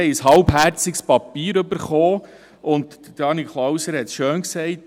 Wir haben ein halbherziges Papier erhalten, und Daniel Klauser hat es schön ausgedrückt: